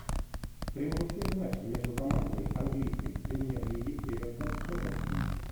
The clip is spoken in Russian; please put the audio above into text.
прямой эфир матч между командами английской премьер лиги эвертон тоттенхэм